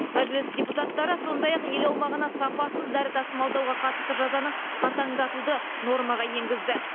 мәжіліс депутаттары сондай ақ ел аумағына сапасыз дәрі тасымалдауға қатысты жазаны қатаңдатуды нормаға енгізді